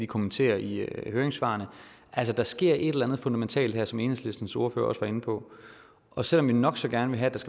kommentarer i høringssvarene altså der sker et eller andet fundamentalt her som enhedslistens ordfører også var inde på og selv om vi nok så gerne vil have at